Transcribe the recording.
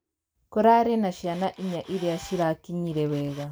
Kũrarĩna ciana inya iria cirakinyire wega.